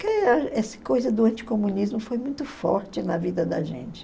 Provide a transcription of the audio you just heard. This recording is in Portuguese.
Porque essa coisa do anticomunismo foi muito forte na vida da gente.